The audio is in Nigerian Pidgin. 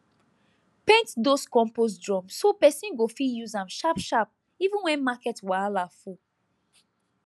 paint those compost drum so person go fit use am sharp sharp even when market wahala full